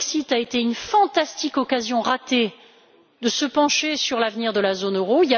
Le Brexit a été une fantastique occasion ratée de se pencher sur l'avenir de la zone euro.